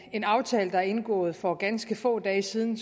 en aftale der er indgået for ganske få dage siden